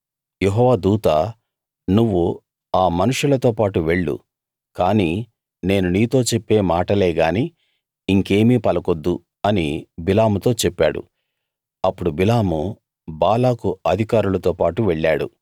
యెహోవా దూత నువ్వు ఆ మనుషులతోపాటు వెళ్ళు కాని నేను నీతో చెప్పే మాటలేగాని ఇంకేమీ పలకొద్దు అని బిలాముతో చెప్పాడు అప్పుడు బిలాము బాలాకు అధికారులతో పాటు వెళ్ళాడు